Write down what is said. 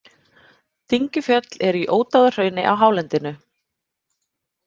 Dyngjufjöll eru í Ódáðahrauni á hálendinu.